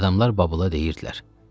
Adamlar Babıla deyirdilər: